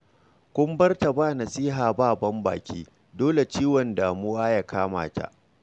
Kun bar ta ba nasiha ba ban-baki, dole ciwon damuwa ya kama ta